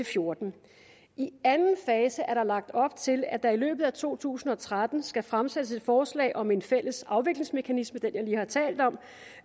fjorten i anden fase er der lagt op til at der i løbet af to tusind og tretten skal fremsættes et forslag om en fælles afviklingsmekanisme den jeg lige har talt om